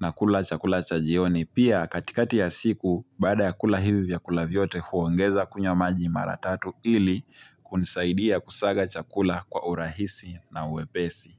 na kula chakula cha jioni. Pia katikati ya siku, baada ya kula hivi vyakula vyote huongeza kunywa maji mara tatu ili kunisaidia kusaga chakula kwa urahisi na wepesi.